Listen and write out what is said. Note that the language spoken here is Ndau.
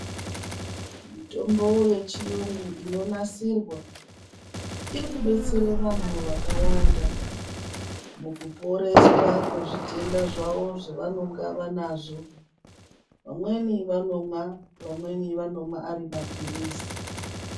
Mitombo yechiyungu inonasirwa iri kubetsera vanthu vakawanda mukuporeswa kwezvitenda zvavo zvavanenge vanazvo vamweni vanomwa vamweni vanomwa ari mapirizi.